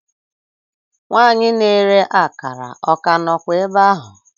Nwanyị na-ere akara o ka nọkwa ebe ahụ?